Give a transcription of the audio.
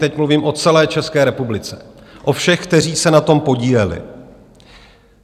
Teď mluvím o celé České republice, o všech, kteří se na tom podíleli.